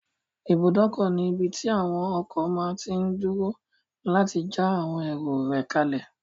Ibùdókọ̀ ní ibí tí àwon ọkọ̀ máa tí n dúró láti já àwọn èrò rẹ̀ kálẹ̀